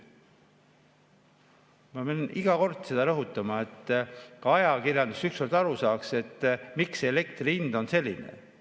Ma pean seda iga kord rõhutama, et ka ajakirjandus üheselt aru saaks, miks elektri hind on selline.